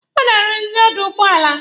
Ọ na-arụzị dọọlụ ụgbọala.